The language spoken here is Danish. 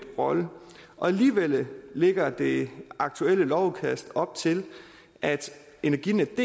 rolle alligevel lægger det aktuelle lovudkast op til at energinetdk